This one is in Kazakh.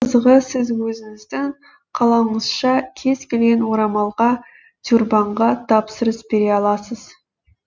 қызығы сіз өзіңіздің қалауыңызша кез келген орамалға тюрбанға тапсырыс бере аласыз